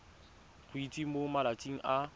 go itsise mo malatsing a